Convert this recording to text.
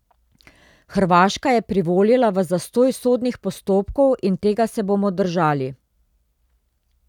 Hrvaška je privolila v zastoj sodnih postopkov in tega se bomo držali.